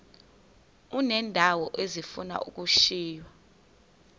uneendawo ezifuna ukushiywa